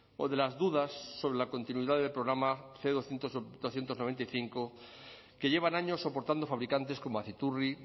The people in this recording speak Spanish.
o de las dudas sobre la continuidad del programa cien doscientos noventa y cinco que llevan años soportando fabricantes como aciturri